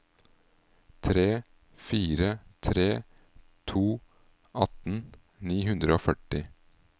tre fire tre to atten ni hundre og førti